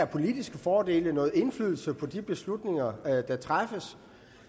politiske fordele i noget indflydelse på de beslutninger der træffes